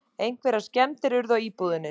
Einhverjar skemmdir urðu á íbúðinni